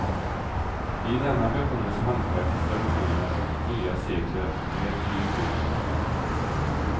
I denna besjunges hantverkets traditioner och nya sekler med ny yrkesutveckling.